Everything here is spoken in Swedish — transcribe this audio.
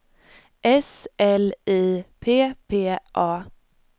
S L I P P A